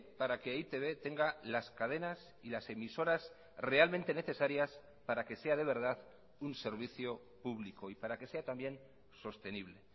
para que e i te be tenga las cadenas y las emisoras realmente necesarias para que sea de verdad un servicio público y para que sea también sostenible